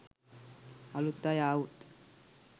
අලුත් අය ආවොත්.